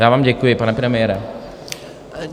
Já vám děkuji, pane premiére.